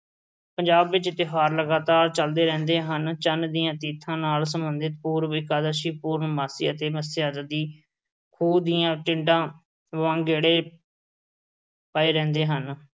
ਪੰਜਾਬ ਵਿੱਚ ਤਿਉਹਾਰ ਲਗਾਤਾਰ ਚਲਦੇ ਰਹਿੰਦੇ ਹਨ। ਚੰਨ ਦੀਆਂ ਨਾਲ ਸਬੰਧਤ ਪੂਰਬ ਇਕਾਦਸ਼ੀ, ਪੂਰਨਮਾਸ਼ੀ ਅਤੇ ਮੱਸਿਆ ਆਦਿ। ਖੂਹ ਦੀਆਂ ਟਿੰਡਾਂ ਵਾਂਗ ਗੇੜੇ ਪਏ ਰਹਿੰਦੇ ਹਨ।